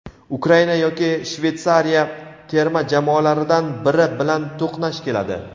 Ukraina yoki Shveytsariya terma jamoalaridan biri bilan to‘qnash keladi;.